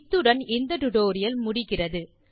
இத்துடன் இந்த டுடோரியல் முடிகிறது